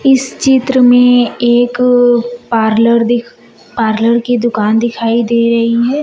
इस चित्र में एक पार्लर दिख पार्लर की दुकान दिखाई दे रही है।